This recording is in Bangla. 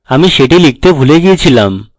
আমি সেটি লিখতে ভুলে গিয়েছিলাম